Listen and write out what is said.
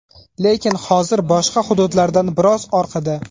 Lekin hozir boshqa hududlardan biroz orqada.